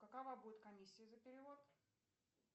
какова будет комиссия за перевод